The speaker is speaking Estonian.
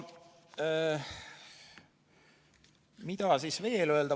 Mida siis veel öelda?